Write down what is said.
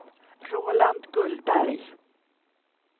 Roland Gullberg